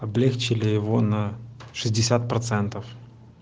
облегчили его на шестьдесят процентов